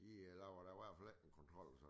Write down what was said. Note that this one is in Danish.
De laver da i hvert fald ikke en kontrol